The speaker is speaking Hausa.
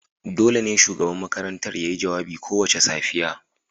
dole ne shugaban makarantar ya yi jawabi kowace safiya